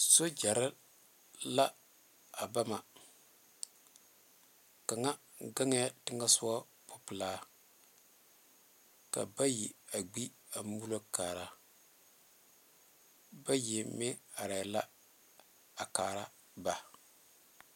sogyere la a ba ma kaŋa gaɛ teŋa pupeɛlee ka bayi a gbee teŋa a mulo kaare bayi meŋ are la a kaare ba.